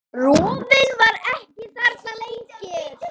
Rofinn var ekki þarna lengur.